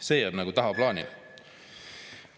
See jääb nagu tagaplaanile.